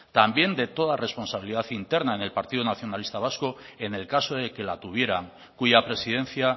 también de toda responsabilidad interna en el partido nacionalista vasco en el caso de que la tuvieran cuya presidencia